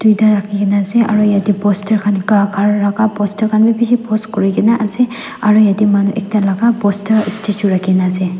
tuita rakhin kaena ase aru yatae poster khan bishi post kurikaena ase aru yatae manu ekta laka poster statue rakhina ase.